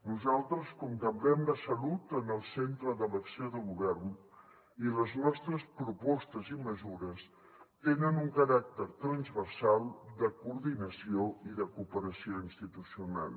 nosaltres contemplem la salut en el centre de l’acció de govern i les nostres propostes i mesures tenen un caràcter transversal de coordinació i de cooperació institucional